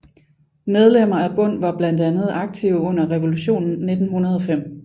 Medlemmer af Bund var blandt andet aktive under revolutionen 1905